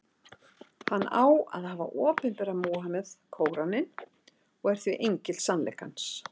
Hann á að hafa opinberað Múhameð Kóraninn, og er því engill sannleikans.